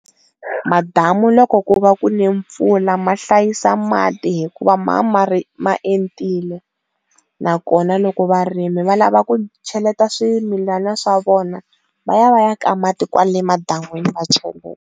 M damu loko ku va ku ne mpfula ma hlayisa mati hikuva ma mari ma entile nakona loko varimi va lava ku cheleta swimilana swa vona va ya va ya ka mati kwale madamini va cheleta.